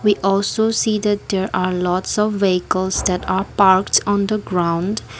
we also see that there are lots of vehicles that are parked on the ground.